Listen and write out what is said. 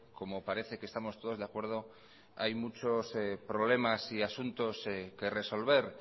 como parece que estamos todos de acuerdo hay muchos problemas y asuntos que resolver